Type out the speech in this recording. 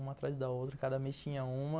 Uma atrás da outra, cada mês tinha uma.